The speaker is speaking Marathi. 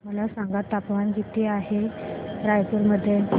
मला सांगा तापमान किती आहे रायपूर मध्ये